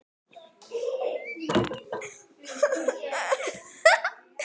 Viðar orðinn æ tíðari gestur.